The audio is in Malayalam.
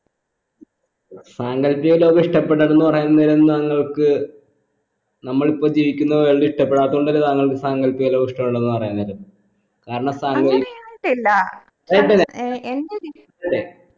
സാങ്കൽപ്പിക ലോകം ഇഷ്ടപ്പെടുന്നത്ന്ന് പറയുന്ന നേരം താങ്കൾക്ക് നമ്മൾ ഇപ്പോൾ ജീവിക്കുന്ന world ഇഷ്ടപ്പെടാത്തൊണ്ടല്ലേ താങ്കൾക്ക് സാങ്കൽപ്പിക ഇഷ്ടമുള്ളതെന്ന് പറയുന്നത് കാരണം സാൻ